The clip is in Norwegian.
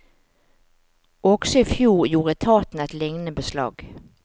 Også i fjor gjorde etaten et lignende beslag.